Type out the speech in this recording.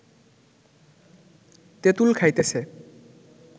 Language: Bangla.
তেঁতুল খাইতেছে